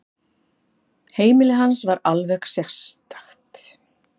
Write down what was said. Heimili hans var alveg sérstakt.